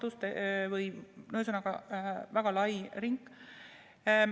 Ühesõnaga, see on väga lai ring.